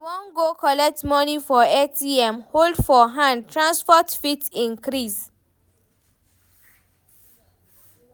I wan go collect moni from ATM hold for hand, transport fit increase.